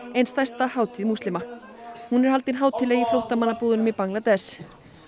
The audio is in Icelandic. ein stærsta hátíð múslima hún er haldin hátíðleg í flóttamannabúðunum í Bangladess